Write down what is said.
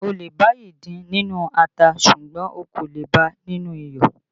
O lè bá ìdin nínú ata ṣùgbọ́n o kò le bá a nínú iyọ̀